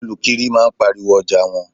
Olukiri máa ń pariwo ọjà wọn.